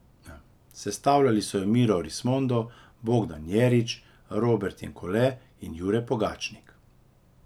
Sestavljali so jo Miro Rismondo, Bogdan Jerič, Robert Jenkole in Jure Pogačnik.